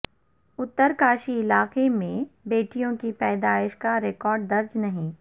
اترکاشی علاقے میں بیٹیوں کی پیدائش کا ریکارڈ درج نہیں